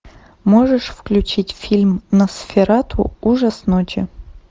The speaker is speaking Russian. можешь включить фильм носферату ужас ночи